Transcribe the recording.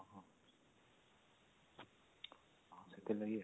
ହଁ ସେଥିଲାଗି ଆଉ